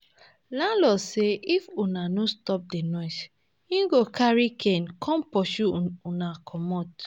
Landlord say if una no stop the noise, he go carry cane come pursue una comot